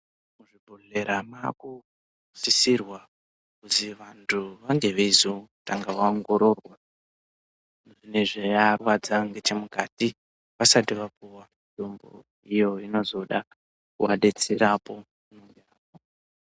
Muzvibhedhlera makusisirwa kuzi vantu vange veizotanga vaongororwa. Nezvenorwadza ngechemukati vasati vapuva mitombo iyo inozoda kuvadetserapo.